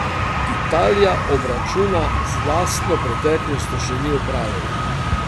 Italija obračuna z lastno preteklostjo še ni opravila.